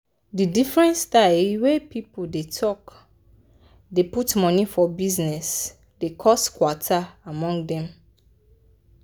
di different styles wey people dey take dey put money for bizness dey cos kwata among dem.